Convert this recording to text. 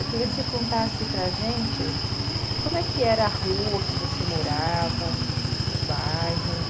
Eu queria que você contasse para gente como é que era a rua que você morava, o bairro.